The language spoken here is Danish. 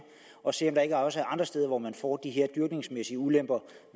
og se om der ikke også er andre steder hvor man får dyrkningsmæssige ulemper